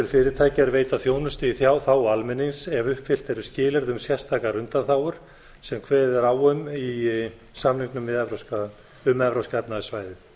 fyrirtækja er veita þjónustu í þágu almennings ef uppfyllt eru skilyrði um sérstakar undanþágur sem kveðið er á um í samningum um evrópska efnahagssvæðið